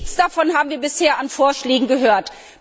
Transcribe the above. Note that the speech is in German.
Nichts davon haben wir bisher an Vorschlägen gehört.